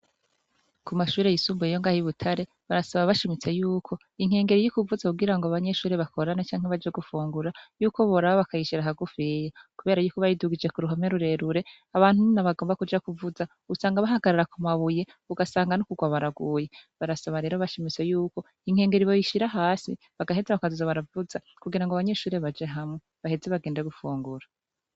Ku mashure yisumbuye yo mu Rwanda ibutare, barasaba bashimitse yuko inkengeri ivuze kugirango abanyeshure bakorane canke baje gufungura ,yuko boraba bakayishira hagufiya kubera yuko bayidugije k'uruhome rurerure abantu iyo bagomba kuja kuvuza usanga bahagarara ku mabuye, ugasanga n'ukurwa baraguye barasaba rero bashimitse yuko inkengeri boyishira hasi ,bagaheza bakazoza baravuza kugirango abanyeshure baje hamwe baheze bagende gufungura.